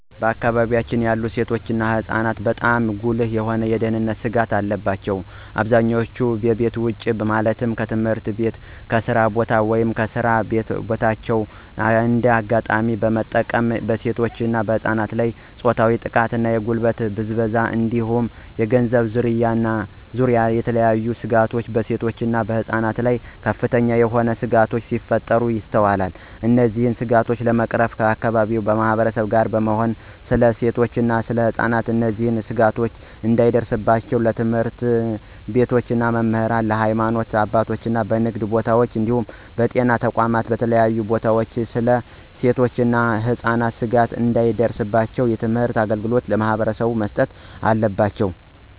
በአከባቢወች ያሉ ሴቶች እና ህፃናትበጣም ጉልህ የሆኑ የደህንነት ስጋቶች አሉ። በአብዛኛው ከቤት ውጭ ማለትም ከትምህርት ቤት፣ ከስራ ቦታ፣ ወይም በስራ በታዎች እንደ አጋጣሚ በመጠቀም በሴቶች እና በህፃናት ላይ የፆታዊ ጥቃት፣ የጉልበት ብዝበዛ እንዲሁም የገንዘብ ዝርፊያ እና የተለያዬ ስጋቶች በሴቶች እና ህፃናት ላይ ከፍተኛ የሆነ ስጋቶች ሲፈጠሩ ይስተዋላል። እነዚህን ስጋቶች ለመቅረፍ ከአከባቢው ማህበረሰብ ጋር በመሆን ስለ ሴቶች እና ህፃናት እነዚህ ስጋቶች እንዳይደርስባቸው ለትምህርት ቤቶች መምህራን፣ ለሀይማኖት አባቶች፣ በንግድ ቦታወች እንዲሁም በጤና ተቋማት እና በተለያዩ ቦታወች ስለ ሴቶች እና ህፃናት ስጋት እንዳይደርስባቸው የትምህርት አገልግሎት ለማህበረሰቡ መስጠት አለባቸው።